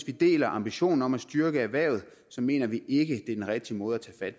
vi deler ambitionen om at styrke erhvervet mener vi ikke er den rigtige måde at